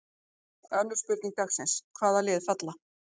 Önnur spurning dagsins: Hvaða lið falla?